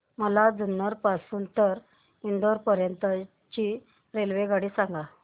मला जुन्नर पासून तर इंदापूर पर्यंत ची रेल्वेगाडी सांगा